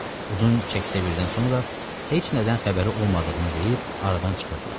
Uzun çək-çevirdən sonra heç nədən xəbəri olmadığını deyib aradan çıxırdılar.